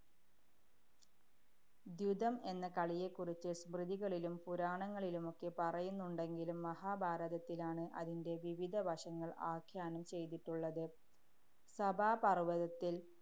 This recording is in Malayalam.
ദ്യുതം എന്ന കളിയെക്കുറിച്ച് സ്മൃതികളിലും പുരാണങ്ങളിലുമൊക്കെ പറയുന്നുണ്ടെങ്കിലും മഹാഭാരതത്തിലാണ് അതിന്‍റെ വിവിധ വശങ്ങള്‍ ആഖ്യാനം ചെയ്തിട്ടുള്ളത്. സഭാപര്‍വതത്തില്‍